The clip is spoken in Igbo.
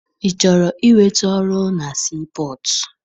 Ị chọrọ inweta ọrụ na sii pọtụ?